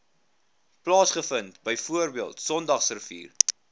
plaasvind bv sondagsrivier